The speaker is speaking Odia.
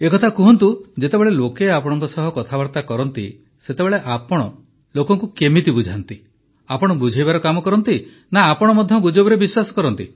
ପ୍ରଧାନମନ୍ତ୍ରୀ ଯେତେବେଳେ ଲୋକେ ଆପଣଙ୍କ ସହ କଥାବାର୍ତ୍ତା କରନ୍ତି ସେତେବେଳେ ଆପଣ ଲୋକଙ୍କୁ କିପରି ବୁଝାନ୍ତି ଆପଣ ବୁଝାଇବାର କାମ କରନ୍ତି ନା ଆପଣ ମଧ୍ୟ ଗୁଜବରେ ବିଶ୍ୱାସ କରନ୍ତି